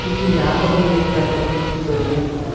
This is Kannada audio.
ಇಲ್ಲಿ ಯಾವುದು ಬೇಕಾದರು ಬುಕ್ಕು ದೊರೆಯಬಹುದು.